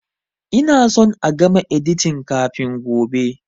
Ina son a gama editin kafin gobe!